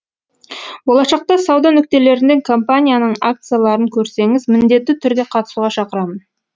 болашақта сауда нүктелерінде компанияның акцияларын көрсеңіз міндетті түрде қатысуға шақырамын